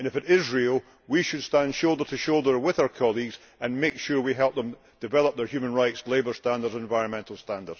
If it is real, we should stand shoulder to shoulder with our colleagues and make sure that we help them develop their human rights, labour standards and environmental standards.